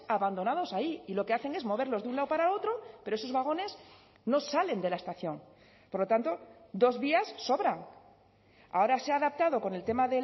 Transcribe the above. abandonados ahí y lo que hacen es moverlos de un lado para otro pero esos vagones no salen de la estación por lo tanto dos vías sobran ahora se ha adaptado con el tema